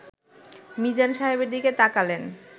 মিজান সাহেবের দিকে তাকালেন